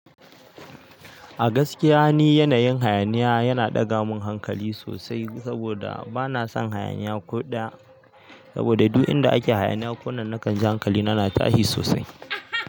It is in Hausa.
A gaskiya ni yanayin hayaniya yana ɗaga min hankali sosai saboda bana son hayaniya ko ɗaya. Saboda duk inda ake hayaniya ko nan na kan ji hankalina na tashi sosai.